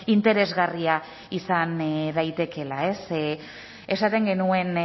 interesgarria izan daitekeela esaten genuen